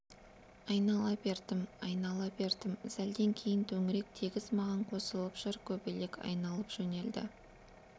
айнала бердім айнала бердім сәлден кейін төңірек тегіс маған қосылып шыр көбелек айналып жөнелді